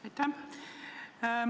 Aitäh!